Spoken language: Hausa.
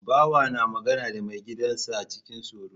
Bawa na magana da mai gidan sa cikin tsoro